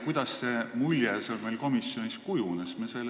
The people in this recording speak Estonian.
Kuidas see mulje meil komisjonis kujunes?